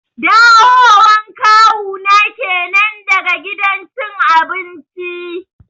Dawo wan Kawu na kenan daga gidan cin abinci